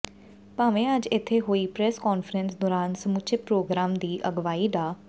ਭਾਵੇਂ ਅੱਜ ਇੱਥੇ ਹੋਈ ਪ੍ਰੈਸ ਕਾਨਫਰੰਸ ਦੌਰਾਨ ਸਮੁੱਚੇ ਪ੍ਰੋਗਰਾਮ ਦੀ ਅਗਵਾਈ ਡਾ